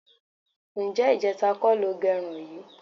Ǹjé̩ ìje̩ta kó̩ lo ge̩run yìí?